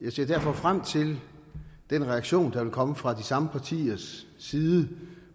jeg ser derfor frem til den reaktion der vil komme fra de samme partiers side